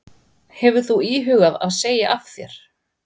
Hefur þú íhugað að segja af þér?